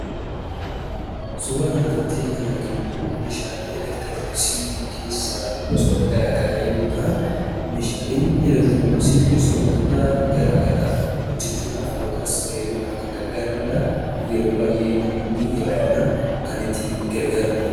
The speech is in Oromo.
Suuraa kana irratti kan arginu immoo meeshaalee elektrooniksii keessaa gosoota garaa garaa yemmuu ta'an, meeshaaleen elektrooniksii kunis wantoota garaa garaa hojjechuudhaaf yookaas fayyaduudhaaf kan gargaaraniidha. Yeroo baay'ee namoonni heddumminaan kan itti gargaaramaniidha.